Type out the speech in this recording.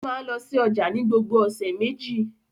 Ó máa ń lọ sí ọjà ní gbogbo ọ̀sẹ̀ méjì.